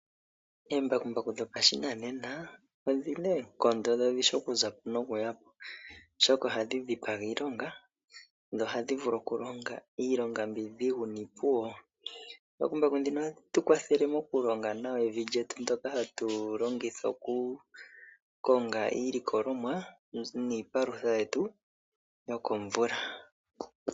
Oombakumbaku dhopashinanena odhina oonkondo, dho odhishi okuzapo nokuyapo oshoka ohadhi dhipaga iilonga nohadhi vulu okulonga iilonga mbyoka iidhigu opuwo, oombakumbaku ndhino ohadhi tukwathele mokulonga nawa evi lyetu ndjoka hatulongitha oku konga iilikolomwa niipalutha yetu yokomvula.